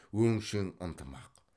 өңшең ынтымақ